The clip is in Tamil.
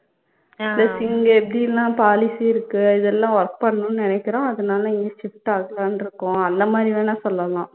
plus இங்க எப்படியெல்லாம் policy இருக்கு இதெல்லாம் work பண்ணனுன்னு நினைக்கிறோம் அதனால இங்க shift ஆகலாம்னு இருக்கோம் அந்த மாதிரி வேணா சொல்லலாம்